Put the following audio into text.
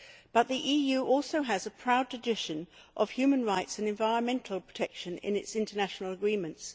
But the EU also has a proud tradition of human rights and environmental protection in its international agreements.